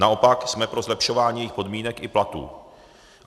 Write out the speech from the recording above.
Naopak, jsme pro zlepšování jejich podmínek i platů.